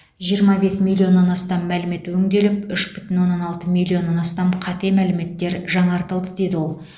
жиырма бес миллионнан астам мәлімет өңделіп үш бүтін оннан алты миллионнан астам қате мәліметтер жаңартылды деді ол